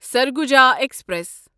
Surguja express